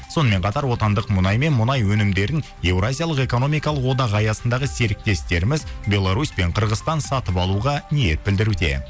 сонымен қатар отандық мұнай мен мұнай өнімдерін еуразиялық экономикалық одақ аясындағы серіктестіріміз белорусь пен қырғызстан сатып алуға ниет білдіруде